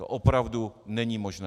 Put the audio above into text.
To opravdu není možné.